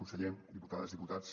conseller diputades diputats